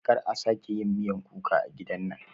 Kar a sake miyan kuka a gidan nan